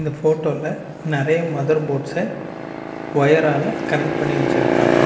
இந்த போட்டோல நெறைய மதர் போர்ட்ஸ்ஸா ஒயரால கனெக்ட் பண்ணி வெச்சுருக்காங்க.